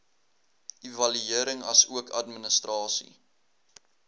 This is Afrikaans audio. evaluering asook administrasie